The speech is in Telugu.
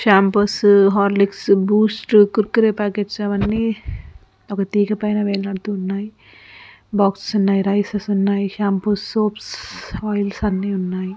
Shampoos Horlicks Boost Kurkure packets అవి అన్నీ అవి తీగ పైన వేలాడతు ఉన్నాయి. ఉన్నాయి రైస్ స్ ఉన్నాయి. షాంపూస్ సోప్స్ ఆయిల్స్ అన్నీ ఉన్నాయి.